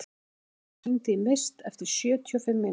Aðalborg, hringdu í Mist eftir sjötíu og fimm mínútur.